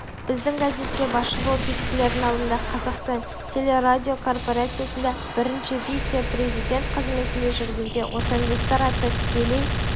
біздің газетке басшы болып бекітілердің алдында қазақстан телерадиокорпорациясында бірінші вице-президент қызметінде жүргенде отандастар атты тікелей